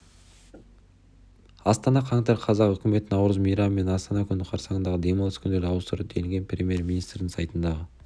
астана қаңтар қаз үкімет наурыз мейрамы мен астана күні қарсаңындағы демалыс күндерін ауыстырды делінген премьер-министрінің сайтындағы